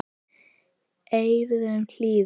eyrum hlýðir